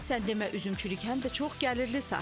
Sən demə üzümçülük həm də çox gəlirli sahədir.